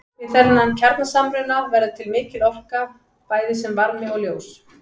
Við þennan kjarnasamruna verður til mikil orka bæði sem varmi og ljós.